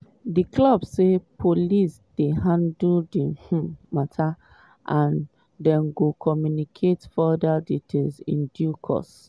di club say police dey handle di um mata and dem go communicate further details in due course.